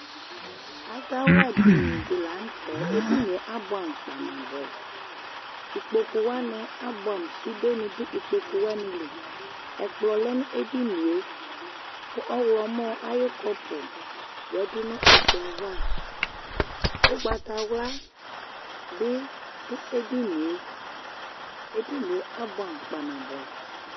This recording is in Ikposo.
Azawla dinidi lanʋtɛ edinie abʋɛamʋ kpanabʋɛ Ikpokʋwani abʋɛam sude nidʋ ikpokʋ wanili, ɛkplɔ lɛnʋ edinie, kʋ ɔwlɔmɔ ayʋ kɔpʋ yadʋ nʋ ɛkplɔ yɛ ava, ʋgbatawla bi dʋ edunie, edinie abʋɛamʋ kpaa nabʋɛ